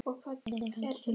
Þeir halda sínum kjarna.